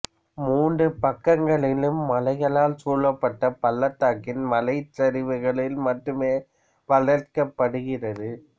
மூன்று பக்கங்களிலும் மலைகளால் சூழப்பட்ட பள்ளத்தாக்கின் மலைச் சரிவுகளில் மட்டுமே வளர்க்கப்படுகிறது